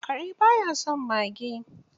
Kare ba ya son mage